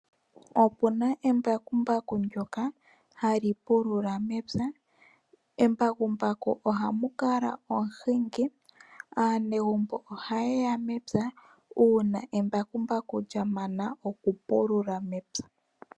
Okuna embakumbaku ndjoka ha li lulula mepya, kembakumbaku oha ku kala omuhingi. Aanegumbo oha ye ya mepya, uuna embakumbaku lya mana oku pulula.